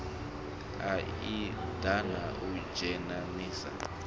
a idp na u dzhenisa